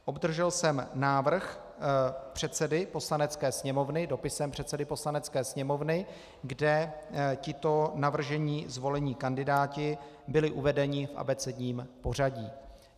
Obdržel jsem návrh předsedy Poslanecké sněmovny dopisem předsedy Poslanecké sněmovny, kde tito navržení zvolení kandidáti byli uvedeni v abecedním pořadí.